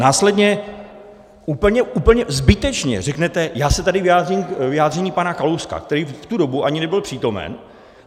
Následně úplně zbytečně řeknete: Já se tady vyjádřím k vyjádření pana Kalouska - který v tu dobu ani nebyl přítomen.